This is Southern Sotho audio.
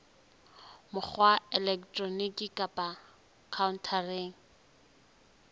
mokgwa wa elektroniki kapa khaontareng